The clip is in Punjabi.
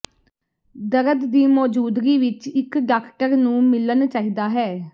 ਦਰਦ ਦੀ ਮੌਜੂਦਗੀ ਵਿਚ ਇਕ ਡਾਕਟਰ ਨੂੰ ਮਿਲਣ ਚਾਹੀਦਾ ਹੈ